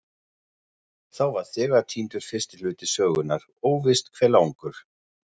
Þá var þegar týndur fyrsti hluti sögunnar, óvíst hve langur.